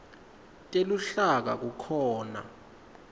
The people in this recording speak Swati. teluhlaka kukhona